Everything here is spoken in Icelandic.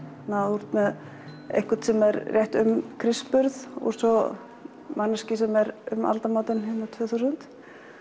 þú ert með einhvern um Krists burð og svo manneskju um aldamótin tvö þúsund